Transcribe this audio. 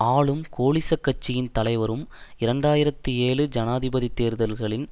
ஆளும் கோலிசக் கட்சியின் தலைவரும் இரண்டு ஆயிரத்தி ஏழு ஜனாதிபதி தேர்தல்களின்